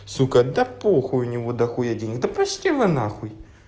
сука да похуй у него дохуя денег да пошли вы на хуй